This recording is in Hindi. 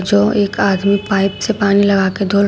जो एक आदमी पाइप से पानी लगा के धो रहा है।